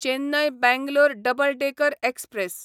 Chennai Bangalore double decker express